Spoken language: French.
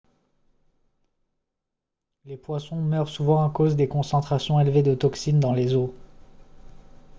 les poissons meurent souvent à cause des concentrations élevées de toxines dans les eaux